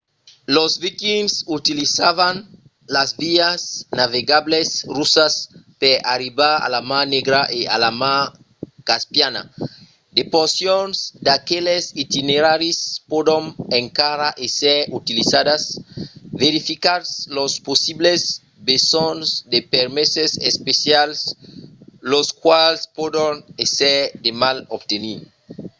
los vikings utilizavan las vias navegablas russas per arribar a la mar negra e a la mar caspiana. de porcions d’aqueles itineraris pòdon encara èsser utilizadas. verificatz los possibles besonhs de permeses especials los quals pòdon èsser de mal obtenir